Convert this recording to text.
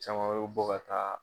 Cama bɛ bɔ ka taa